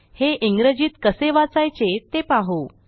हे इंग्रजीत कसे वाचायचे ते पाहू